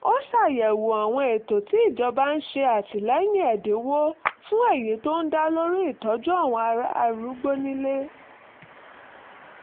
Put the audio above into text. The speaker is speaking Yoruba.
ó ṣàyẹ̀wò àwọn ètò tí ìjọba ń ṣe àtìlẹ́yìn ẹ̀dínwó fún èyí tó ń dá lórí ìtọ́jú àwọn arúgbó nílé